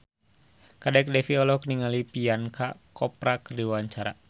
Kadek Devi olohok ningali Priyanka Chopra keur diwawancara